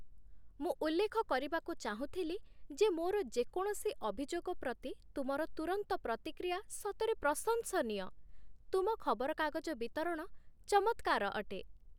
ମୁଁ ଉଲ୍ଲେଖ କରିବାକୁ ଚାହୁଁଥିଲି ଯେ ମୋର ଯେକୌଣସି ଅଭିଯୋଗ ପ୍ରତି ତୁମର ତୁରନ୍ତ ପ୍ରତିକ୍ରିୟା ସତରେ ପ୍ରଶଂସନୀୟ ତୁମ ଖବରକାଗଜ ବିତରଣ ଚମତ୍କାର ଅଟେ।